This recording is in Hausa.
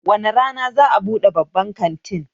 Wane rana za'a buɗe babban kantin?